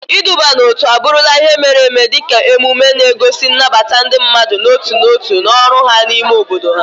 Iduba n'otu abụrụla ihe mere eme dị ka emume emume, na-egosi nnabata ndị mmadụ n'otu n'otu na ọrụ ha n'ime obodo ha.